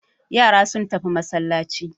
Yara sun tafi masallaci.